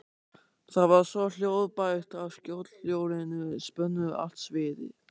Það var svo hljóðbært að skothljóðin spönnuðu allt sviðið.